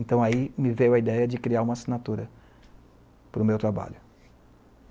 Então, aí me veio a ideia de criar uma assinatura para o meu trabalho.